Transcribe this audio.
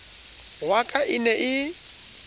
wa ka e ne e